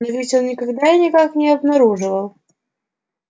но ведь он никогда и никак не обнаруживал